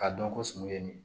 K'a dɔn ko sunun ye nin